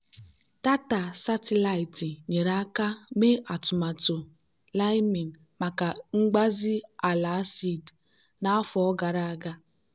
data satịlaịtị nyere aka mee atụmatụ liming maka mgbazi ala acid n'afọ gara aga.